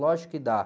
Lógico que dá.